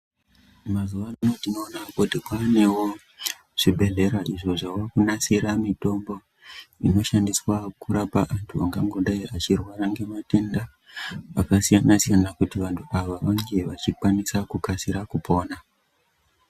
Mazuwa ano tinoona kuti kwaanewo zvibhedhlera zvokona kunasura mitombo inokona kurapa anthu angangodai achirwara ngematenda akasiyana siyana kuti vanthu ava vange vachikwanisa kukasira kupona.